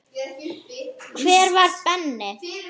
Hver var Benni?